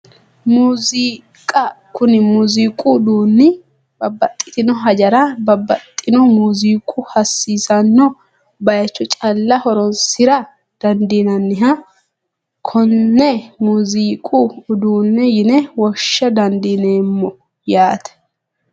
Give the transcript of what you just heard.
Muuziiqa kuni muuziiqu uduunni babbaxxitino hajara babbaxxino muziiqu hasiisanno baycho calla horonsira dandiinanniha konne muuziiqu udeenne yine woshsha dandiineemmo yaate